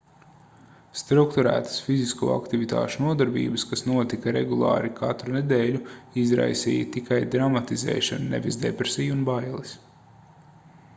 strukturētas fizisko aktivitāšu nodarbības kas notika regulāri katru nedēļu izraisīja tikai dramatizēšanu nevis depresiju un bailes